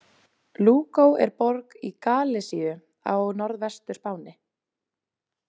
Lugo er borg í Galisíu á Norðvestur-Spáni.